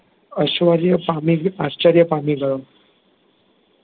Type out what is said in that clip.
અશ્વર્ય પામી, આશ્ચર્ય પામી ગયો